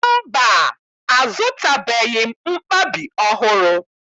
Mba, azụtabeghị m mkpabi ọhụrụ